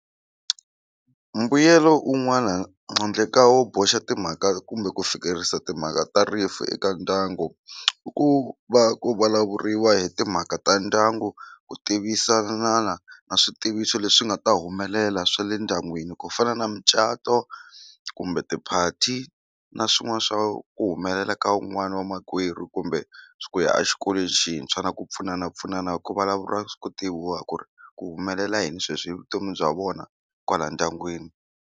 Mbuyelo un'wana handle ka wo boxa timhaka kumbe ku fikerisa timhaka ta rifu eka ndyangu i ku va ku vulavuriwa hi timhaka ta ndyangu ku tivisanana a switiviso leswi nga ta humelela swa le ndyangwini ku fana na mucato kumbe tiphati na swin'wana swa ku humelela ka un'wana wa makwerhu kumbe ku ya exikolweni xintshwa na ku pfunanapfunana ku vulavuriwa ku tiviwa ku ri ku humelela yini sweswi hi vutomi bya vona kwala ndyangwini.